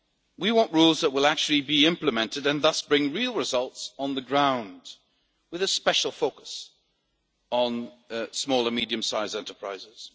We want rules that will actually be implemented and thus bring real results on the ground, with a special focus on small and medium-sized enterprises.